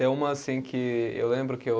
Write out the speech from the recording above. Uma, assim, que eu lembro que eu